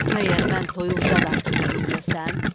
Məgər mən toyuq zadım ki, məni yeyəsən?